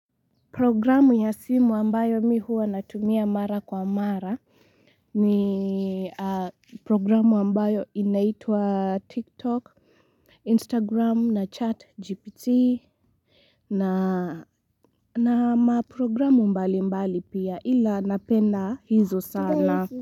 Programu ya simu ambayo mi huwa natumia mara kwa mara ni programu ambayo inaitwa tiktok Instagram na chatGPT na na maprogramu mbali mbali pia ila napenda hizo sana.